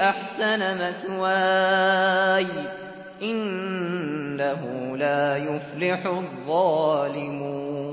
أَحْسَنَ مَثْوَايَ ۖ إِنَّهُ لَا يُفْلِحُ الظَّالِمُونَ